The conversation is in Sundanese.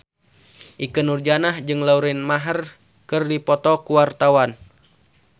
Ikke Nurjanah jeung Lauren Maher keur dipoto ku wartawan